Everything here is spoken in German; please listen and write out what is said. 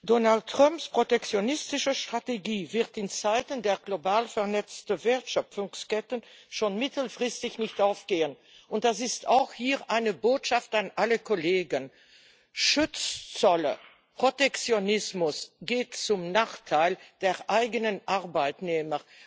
Donald Trumps protektionistische Strategie wird in Zeiten der global vernetzten Wertschöpfungsketten schon mittelfristig nicht aufgehen, und das ist auch hier eine Botschaft an alle Kollegen Schutzzölle und Protektionismus gehen zum Nachteil der eigenen Arbeitnehmer.